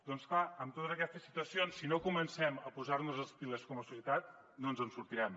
doncs clar amb totes aquestes situacions si no comencem a posar nos les piles com a societat no ens en sortirem